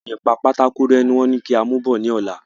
Oun ìpa pátákó ré ni wón ní kí a mù bò ní ọ̀la